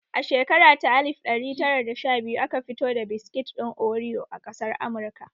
A shekara ta alif ɗari tara da sha biyu aka fito da biskit ɗin oriyo a ƙasar Amurka